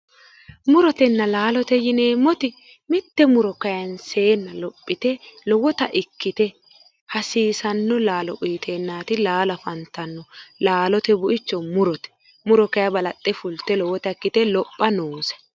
Murotenna laalote yineemmoti mitte muro kaanseenna lophite lowota ikkite hasiisanno laalo uyiteennaati laalo afantannohu laalote bu'icho murote muro kayi balaxxe fulte lowota ikkite lopha noose